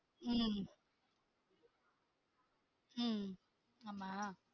உம் உம் ஆமா